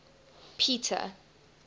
peter